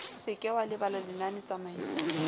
se ke wa lebala lenanetsamaiso